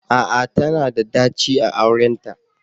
A'a! Tana da daci a aurenta